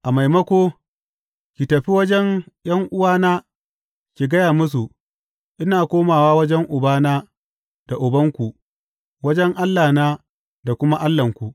A maimako, ki tafi wajen ’yan’uwana ki gaya musu, Ina komawa wajen Ubana da Ubanku, wajen Allahna da kuma Allahnku.’